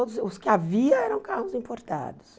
Todos, os que havia eram carros importados.